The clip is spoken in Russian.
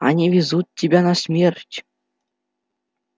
они везут тебя на смерть